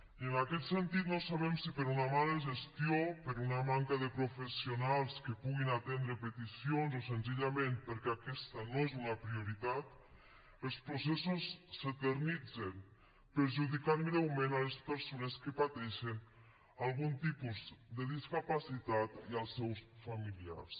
i en aquest sentit no sabem si per una mala gestió per una manca de professionals que puguin atendre peticions o senzillament perquè aquesta no és una prioritat els processos s’eternitzen i perjudiquen greument les persones que pateixen algun tipus de discapacitat i els seus familiars